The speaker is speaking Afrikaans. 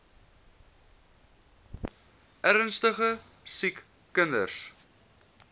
ernstige siek kinders